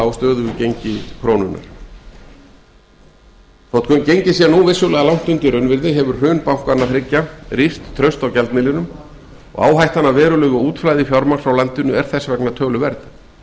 á stöðugu gengi krónunnar þótt gengið sé nú vissulega langt undir raunvirði hefur hrun bankanna þriggja rýrt traust á gjaldmiðlinum og áhættan af verulegu útflæði fjármagns frá landinu er töluverð